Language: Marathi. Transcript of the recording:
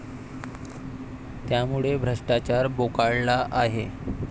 त्यामुळे भ्रष्टाचार बोकाळला आहे.